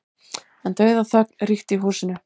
En dauðaþögn ríkti í húsinu.